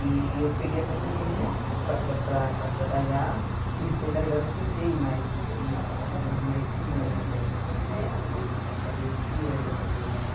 E eu peguei essa turminha para tra para para trabalhar, cuidei na verdade eu cuidei mais, acabei sendo mais que mãe até, né porque acabei criando essa turma né.